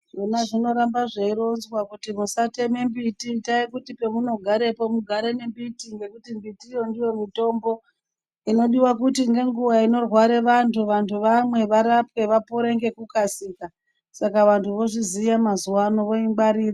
Zvona zvinorambe zveironzwa kuti musateme mbiti, itai kuti pamunogarepo mugare ngembiti ngekuti mbitiyo ndiyo mitombo inodiwa kuti ngenguwa inorware vantu, vantu vamwe, varapwe , vapore ngekukasika. Saka vantu vozviziya mazuwano voingwarira.